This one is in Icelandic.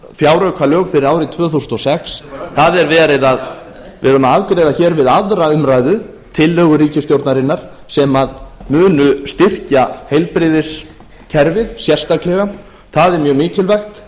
fjáraukalög fyrir árið tvö þúsund og sex við erum að afgreiða hér við aðra umræðu tillögu ríkisstjórnarinnar sem munu styrkja heilbrigðiskerfið sérstaklega það er mjög mikilvægt